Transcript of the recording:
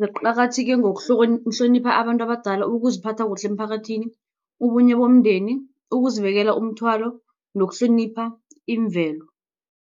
ziqakatheke ngokuhlonipha abantu abadala, ukuziphatha kuhle emphakathini, ubunye bomndeni, ukuzibekela umthwalo nokuhlonipha imvelo.